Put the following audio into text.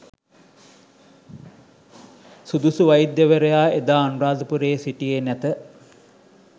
සුදුසු වෛද්‍යවරයා එදා අනුරාධපුරයේ සිටියේ නැත.